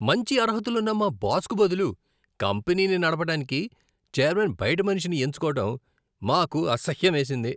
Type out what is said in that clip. మంచి అర్హతలున్న మా బాస్కు బదులు కంపెనీని నడపడానికి చైర్మన్ బయటి మనిషిని ఎంచుకోవడం మాకు అసహ్యమేసింది.